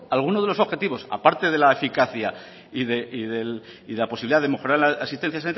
algunos de los objetivos aparte de la eficacia y de la posibilidad de mejorar en la asistencia